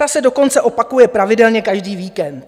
Ta se dokonce opakuje pravidelně každý víkend.